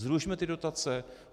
Zrušme ty dotace.